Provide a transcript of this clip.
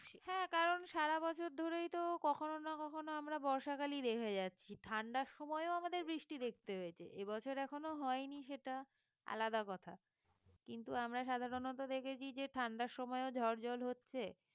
হ্যাঁ কারণ সারাবছর কখনো না কখনো আমরা বর্ষাকালই দেখে যাচ্ছি ঠান্ডার সময়ও আমাদের বৃষ্টি দেখতে হয়েছে এ বছর এখনো হয়নি সেটা আলাদা কথা কিন্তু আমরা সাধারণত দেখেছি যে ঠান্ডার সময়ও ঝড় ঝড় হচ্ছে